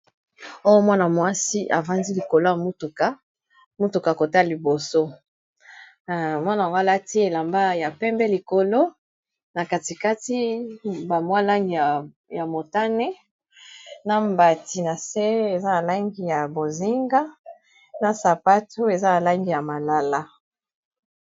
oyo mwana-mwasi avandi likolo ya mutuka mutuka kota liboso mwana goalati elamba ya pembe likolo na katikati ba mwa langi ya motane na mbati na se eza na langi ya bozinga na sapato eza na langi ya malala